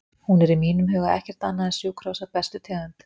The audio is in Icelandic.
Hún er í mínum huga ekkert annað en sjúkrahús af bestu tegund.